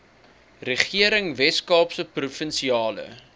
regering weskaapse provinsiale